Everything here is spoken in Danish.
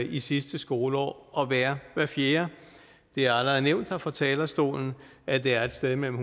i sidste skoleår at være hver fjerde det er allerede nævnt her fra talerstolen at det er et sted mellem